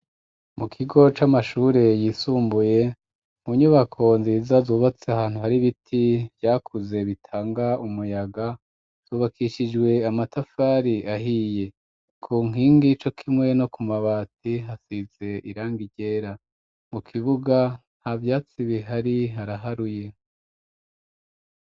Mu kigo c'amashure yisumbuye mu nyubako nziza zubatse ahantu hari biti vyakuze bitanga umuyaga zubakishijwe amatafari ahiye ku nkingi ico k'imwe no ku mabati hasize irangi ryera mu kibuga nta byatsi bihari haraharuye.